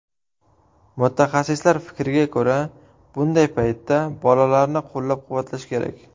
Mutaxassislar fikriga ko‘ra, bunday paytda bolalarni qo‘llab-quvvatlash kerak.